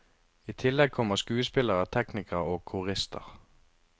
I tillegg kommer skuespillere, teknikere, og korister.